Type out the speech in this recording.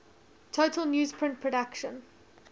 total newsprint production